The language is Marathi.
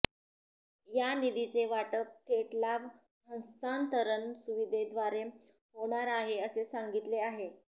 या निधीचे वाटप थेट लाभ हस्तांतरण सुविधेद्वारे होणार आहे असे सांगितले आहे